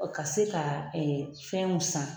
Ka se ka fɛn mun san